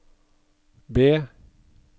B